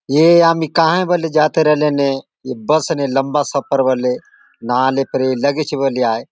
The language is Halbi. ए आमी कहा बले जाते रले ने बस ने लम्बा सफर होले नहाले फेर लगेची बले आय।